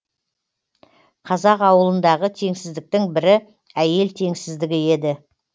қазақ ауылындағы теңсіздіктің бірі әйел теңсіздігі еді